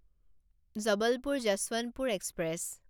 Jabalpur Yesvantpur express